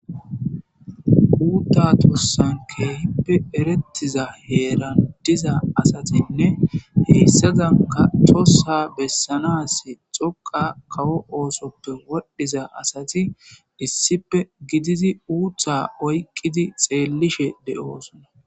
uutta tossan keehippe erettiza heeran diza asatinne heyssazanka tossa bessanas xoqa kawo oosoppe wodhdhiza asati issippe gididi uutha oyqqidi xeellishe de7osona